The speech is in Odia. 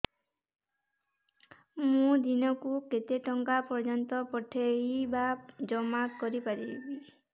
ମୁ ଦିନକୁ କେତେ ଟଙ୍କା ପର୍ଯ୍ୟନ୍ତ ପଠେଇ ବା ଜମା କରି ପାରିବି